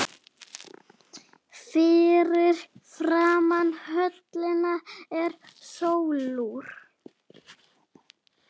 Fyrir framan höllina er sólúr